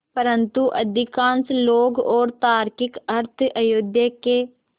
परन्तु अधिकांश लोग और तार्किक अर्थ अयोध्या के